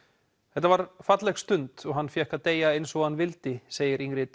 þetta var falleg stund og hann fékk að deyja eins og hann vildi segir Ingrid